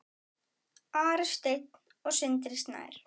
Ari Steinn og Sindri Snær.